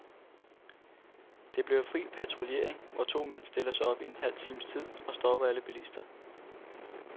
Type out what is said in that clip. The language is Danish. Det bliver fri patruljering, hvor to mand stiller sig op i halv times tid og stopper alle bilister.